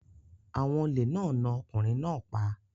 Àwọn olè náà na ọkùnrin náà pa.